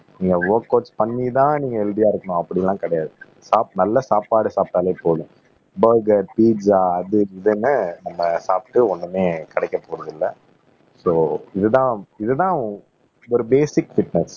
நீங்க ஒர்கவுட் பண்ணிதான் நீங்க ஹெல்த்தியா இருக்கணும் அப்படி எல்லாம் கிடையாது சாப் நல்ல சாப்பாடு சாப்பிட்டாலே போதும் பர்கர் பீசா அது இதுன்னு நம்ம சாப்பிட்டு ஒண்ணுமே கிடைக்கப் போறது இல்ல சோ இதுதான் இதுதான் ஒரு பேசிக் பிட்னஸ்